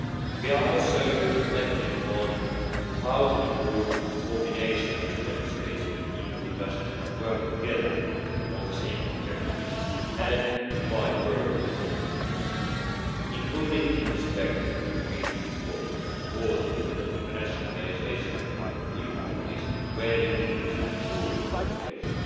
We are also reflecting on how to improve coordination with Member States and EU industry to work the together on the same objectives and divide work in an optimal way, including in respect of concrete support for the internationalisation of EU companies, where we need to avoid duplication.